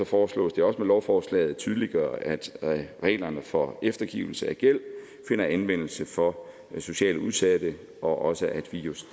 foreslås det også med lovforslaget at tydeliggøre at reglerne for eftergivelse af gæld finder anvendelse for socialt udsatte og også at vi jo